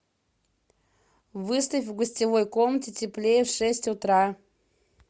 выставь в гостевой комнате теплее в шесть утра